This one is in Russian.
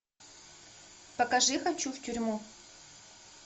покажи хочу в тюрьму